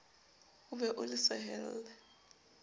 o be o le sehelle